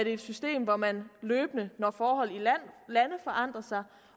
et system hvor man løbende når forholdene i lande forandrer sig